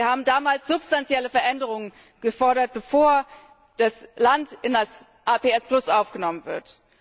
Wir haben damals substanzielle Veränderungen gefordert, bevor das Land in das APS aufgenommen wird.